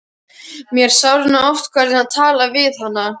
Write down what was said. Mér sárnaði oft hvernig hann talaði við hana.